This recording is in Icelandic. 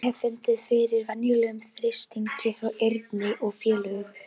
Ég hafði fundið fyrir verulegum þrýstingi frá Erni og félögum.